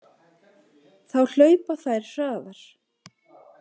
Þá hlaupa þær hraðar.